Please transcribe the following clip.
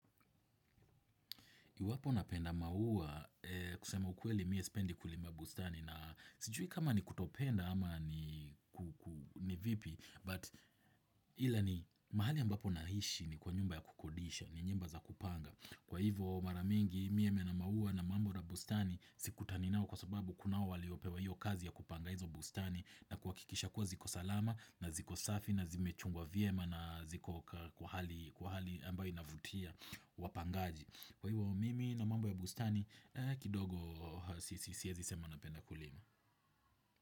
Iwapo napenda maua kusema ukweli mi sipendi kulima bustani na sijui kama ni kutopenda ama ni ni vipi but ila ni mahali ambapo naishi ni kwa nyumba ya kukodisha ni nyumba za kupanga. Kwa hivo maramingi mimi na maua na mambo na bustani sikutani nao kwa sababu kunao waliopewa hiyo kazi ya kupanga hizo bustani na kuhakikisha kuwa ziko salama na ziko safi na zimechungwa vyema na ziko kwa hali ambayo inavutia wapangaji. Kwa hivyo mimi na mambo ya bustani kidogo siezi sema napenda kulima.